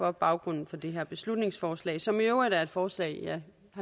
er baggrunden for det her beslutningsforslag som i øvrigt er et forslag jeg